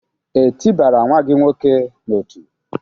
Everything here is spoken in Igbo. E tị bara nwa gị nwoke n'ọtú?